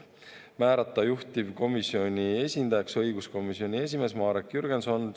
Määrata juhtivkomisjoni esindajaks õiguskomisjoni esimees Marek Jürgenson.